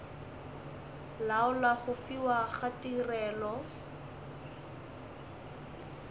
laola go fiwa ga tirelo